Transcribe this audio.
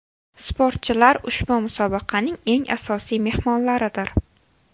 Sportchilar ushbu musobaqaning eng asosiy mehmonlaridir.